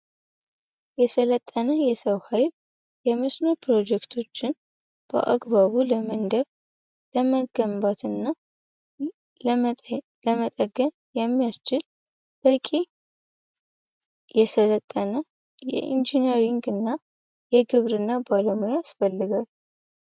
የሰለጠነ የሰው ኃይል የምስኖር ፕሮጀክቶችን በአግባቡ ለመንደቭ ለመገንባትና ለመጠገን የሚያስችል በቂ የሰለጠነ የኢንጂኒሪንግ እና የግብር እና ባለሞያ አስፈልጋል፡፡